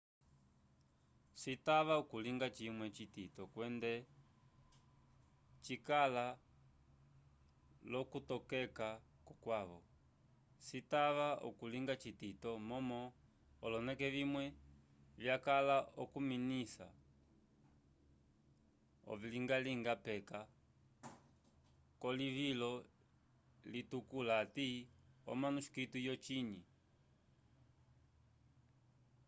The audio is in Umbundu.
citava okulinga cimwe citito kwende cikala lo kulitokeka ko kwavo citava okulinga citito momo oloneke vimwe vyakala okufinisa oviluvyaluvya peka ko livulo litukula ati omanuscito yo cinyi